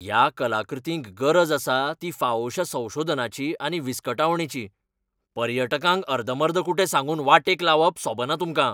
ह्या कलाकृतींक गरज आसा ती फावोशा संशोधनाची आनी विस्कटावणेची, पर्यटकांक अर्दमर्दकुटें सांगून वाटेक लावप सोबना तुमकां.